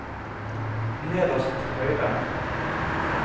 nederst til høyre